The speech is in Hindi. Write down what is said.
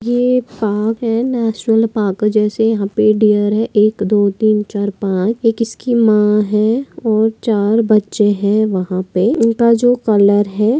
यह पार्क है नेशनल पार्क है जैसे यहा पर डिअर है एक दो तीन चार पाँच एक इसकी मा है और चार बच्चे है वहा पे इनका जो कलर है।